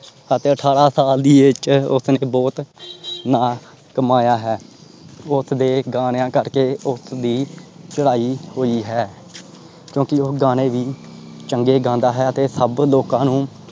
ਅਤੇ ਠਾਰਾਂ ਸਾਲ ਦੀ age ਚ ਉਸਨੇ ਬਹੁਤ ਨਾਂ ਕਮਾਇਆ ਹੈ। ਉਸਦੇ ਗਾਣਿਆਂ ਕਰਕੇ ਉਸਦੀ ਚਡਾਂਈ ਹੋਇ ਹੈ। ਕਿਓਂਕਿ ਉਹ ਗਾਣੇ ਵੀ ਚੰਗੇ ਗਾਂਦਾ ਹੈ ਤੇ ਸਬ ਲੋਕਾਂ ਨੂੰ।